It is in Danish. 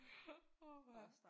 Åh ha